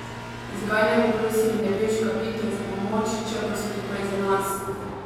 Zakaj ne bi prosili nebeška bitja za pomoč, če pa so tukaj za nas?